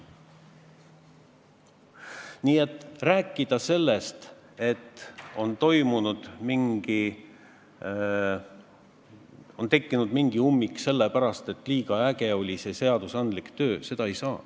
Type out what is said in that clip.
Nii et ei saa rääkida sellest, et on tekkinud mingi ummik selle pärast, et on olnud liiga äge seadusandlik töö.